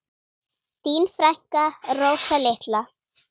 Þín frænka, Rósa litla.